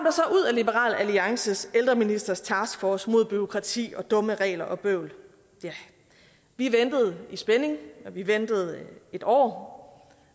liberal alliances ældreministers taskforce mod bureaukrati og dumme regler og bøvl ja vi ventede i spænding og vi ventede en år